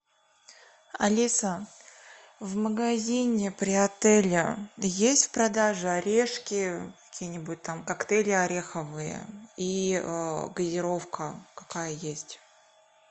алиса в магазине при отеле есть в продаже орешки какие нибудь там коктейли ореховые и газировка какая есть